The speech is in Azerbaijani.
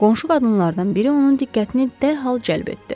Qonşu qadınlardan biri onun diqqətini dərhal cəlb etdi.